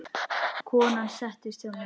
Konan settist hjá mér.